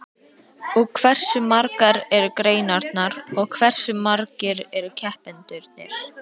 Og hversu margar eru greinarnar og hversu margir eru keppendurnir?